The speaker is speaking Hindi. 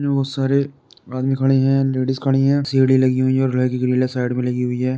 बहुत सारे आदमी खड़े है लेडिस खड़ी है सीडी लगी हुई है।